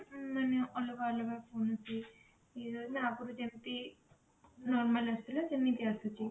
ମାନେ ଅଲଗା ଅଲଗା କଣ କେମିତି ନା ଆଗରୁ ଯେମତି normal ଆସୁଥିଲା ସେମିତି ଆସୁଛି